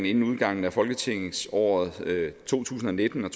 inden udgangen af folketingsåret to tusind og nitten